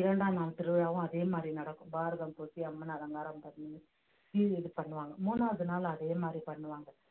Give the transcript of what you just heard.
இரண்டாம் நாள் திருவிழாவும் அதே மாதிரி நடக்கும் பாரதம் பூசி அம்மன் அலங்காரம் பண்ணி இது பண்ணுவாங்க மூணாவது நாள் அதே மாதிரி பண்ணுவாங்க